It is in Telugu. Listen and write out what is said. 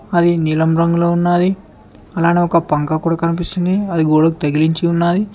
అవి నీలం రంగులో ఉన్నది అలానే ఒక పంక కూడా కనిపిస్తుంది అది గోడకు తగిలించి ఉన్నది.